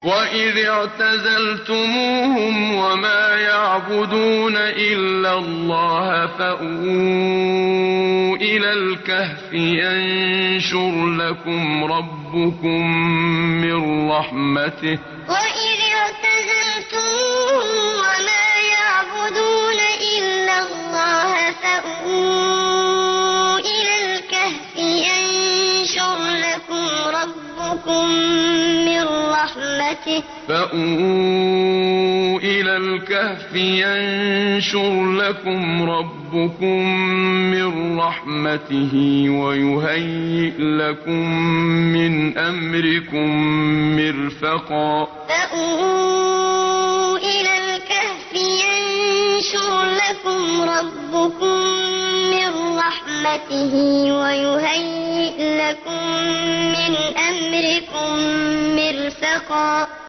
وَإِذِ اعْتَزَلْتُمُوهُمْ وَمَا يَعْبُدُونَ إِلَّا اللَّهَ فَأْوُوا إِلَى الْكَهْفِ يَنشُرْ لَكُمْ رَبُّكُم مِّن رَّحْمَتِهِ وَيُهَيِّئْ لَكُم مِّنْ أَمْرِكُم مِّرْفَقًا وَإِذِ اعْتَزَلْتُمُوهُمْ وَمَا يَعْبُدُونَ إِلَّا اللَّهَ فَأْوُوا إِلَى الْكَهْفِ يَنشُرْ لَكُمْ رَبُّكُم مِّن رَّحْمَتِهِ وَيُهَيِّئْ لَكُم مِّنْ أَمْرِكُم مِّرْفَقًا